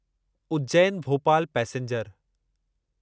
Ujjain Bhopal passenger